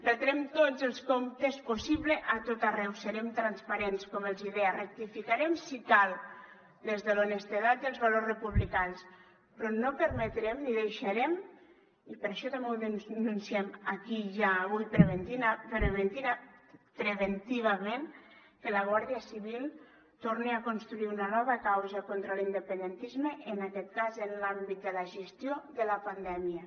retrem tots els comptes possibles a tot arreu serem transparents com els deia rectificarem si cal des de l’honestedat i els valors republicans però no permetrem ni deixarem i per això també ho denunciem aquí ja avui preventivament que la guàrdia civil torni a construir una nova causa contra l’independentisme en aquest cas en l’àmbit de la gestió de la pandèmia